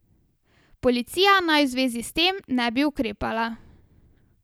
Policija naj v zvezi s tem ne bi ukrepala.